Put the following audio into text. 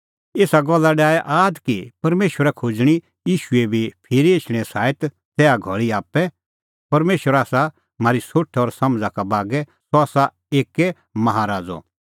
एसा गल्ला डाहै आद कि परमेशरा खोज़णीं ईशूए भी फिरी एछणें साईत तैहा घल़ी आप्पै परमेशरा आसा म्हारी सोठ और समझ़ा का बागै सह आसा एक्कै माहा राज़अ सह करा सोभी प्रैंदै राज़ ज़ुंण होरी लोगा प्रैंदै राज़ करा